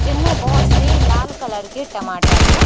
जिनमे बहोत से लाल कलर के टमाटर है।